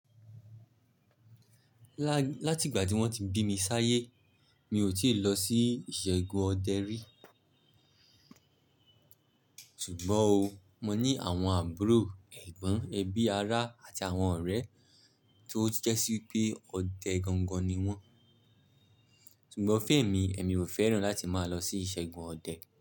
Lá-láti ìgbà tí wọ́n ti bí mi sáyé, mi ò tíì lọ sí ìṣẹ́gun ọdẹ rí. Ṣùgbọ́n o, mo ní àwọn àbúrò ẹ̀gbọ́n, ẹbí ará àti àwọn ọ̀rẹ́ tó jẹ́sí pé ọdẹ gangan ni wọ́n. Ṣùgbọ́n fun emi, èmi ò fẹ́ràn láti máa lọ sí ìṣẹ́gun ọdẹ.